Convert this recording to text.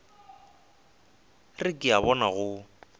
re ke a bona go